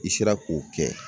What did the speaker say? I sera k'o kɛ